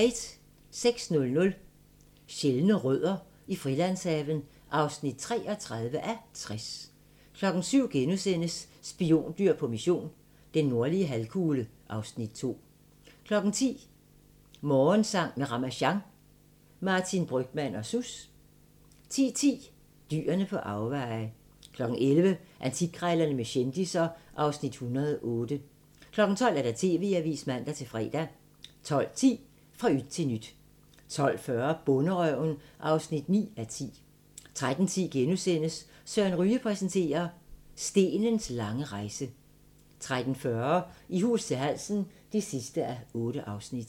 06:00: Sjældne rødder i Frilandshaven (33:60) 07:00: Spiondyr på mission – den nordlige halvkugle (Afs. 2)* 10:00: Morgensang med Ramasjang | Martin Brygmann og Sus 10:10: Dyr på afveje 11:00: Antikkrejlerne med kendisser (Afs. 108) 12:00: TV-avisen (man-fre) 12:10: Fra yt til nyt 12:40: Bonderøven (9:10) 13:10: Søren Ryge præsenterer – Stenens lange rejse * 13:40: I hus til halsen (8:8)